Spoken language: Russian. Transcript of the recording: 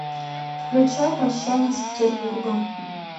включай прощание с петербургом